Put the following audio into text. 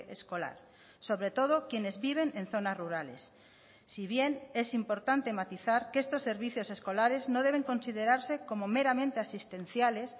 escolar sobre todo quienes viven en zonas rurales si bien es importante matizar que estos servicios escolares no deben considerarse como meramente asistenciales